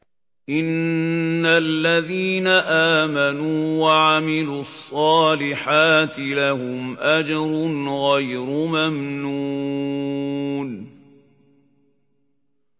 إِنَّ الَّذِينَ آمَنُوا وَعَمِلُوا الصَّالِحَاتِ لَهُمْ أَجْرٌ غَيْرُ مَمْنُونٍ